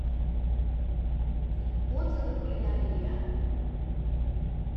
отзывы кулинария